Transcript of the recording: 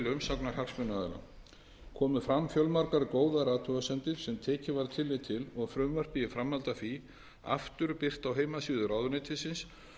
umsagnar hagsmunaaðila komu fram fjölmargar góðar athugasemdir sem tekið var tillit til og frumvarpið í framhaldi af því aftur birt á heimasíðu ráðuneytisins